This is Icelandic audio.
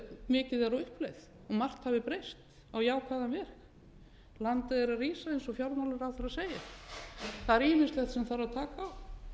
mikið er á uppleið og margt hafi breyst á jákvæðan veg landið er að rísa eins og fjármálaráðherra segir það er ýmislegt sem þarf að taka á